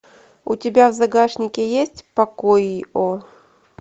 у тебя в загашнике есть покой о